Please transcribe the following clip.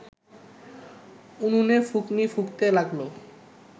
উনুনে ফুঁকনি ফুঁকতে লাগল